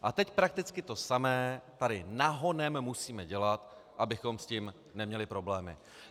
A teď prakticky to samé tady nahonem musíme dělat, abychom s tím neměli problémy.